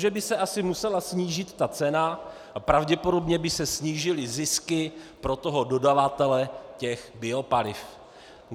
Takže by se asi musela snížit ta cena a pravděpodobně by se snížily zisky pro toho dodavatele těch biopaliv.